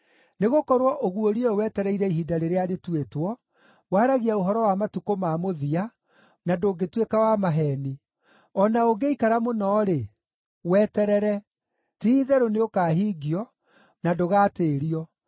Nĩgũkorwo ũguũrio ũyũ wetereire ihinda rĩrĩa rĩtuĩtwo; waragia ũhoro wa matukũ ma mũthia, na ndũngĩtuĩka wa maheeni. O na ũngĩikara mũno-rĩ, weterere. Ti-itherũ nĩũkahingio, na ndũgatĩĩrio.